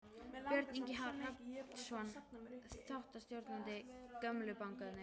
Björn Ingi Hrafnsson, þáttastjórnandi: Gömlu bankarnir?